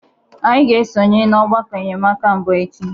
Anyị ga-esonye na ọgbakọ enyemaka mbụ echi.